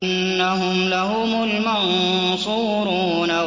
إِنَّهُمْ لَهُمُ الْمَنصُورُونَ